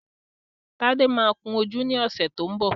Tádé máa kun ojú ní ọ̀sẹ̀ tó ń bọ̀